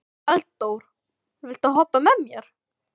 Eldór, viltu hoppa með mér?